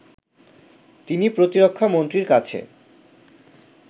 যিনি প্রতিরক্ষা মন্ত্রীর কাছে